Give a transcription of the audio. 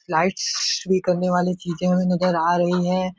Lights भी करने वाली चींजे उस नजर आ रही हैं।